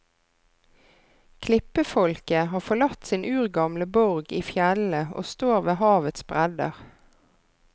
Klippefolket har forlatt sin urgamle borg i fjellene og står ved havets bredder.